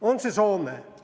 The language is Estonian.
On see Soome?